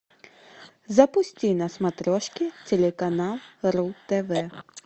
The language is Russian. запусти на смотрешке телеканал ру тв